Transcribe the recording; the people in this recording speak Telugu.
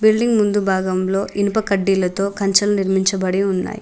బిల్డింగ్ ముందు భాగంలో ఇనుప కడ్డీలతో కంచెలు నిర్మించబడి ఉన్నాయ్.